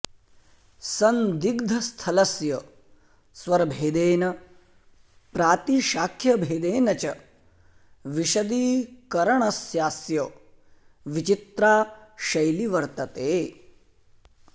सन्दिग्धस्थलस्य स्वरभेदेन प्रातिशाख्यभेदेन च विशदीकरणस्यास्य विचित्रा शैली वर्त्तते